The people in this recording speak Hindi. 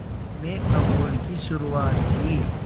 में अमूल की शुरुआत की